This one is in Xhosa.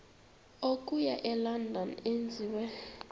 okuya elondon enziwe